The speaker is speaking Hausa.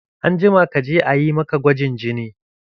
Anjima kaje a yi maka gwajin jini!